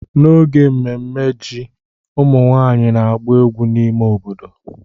N'oge mmemme ji, ụmụ nwanyị ga-agba egwu n'ime obodo.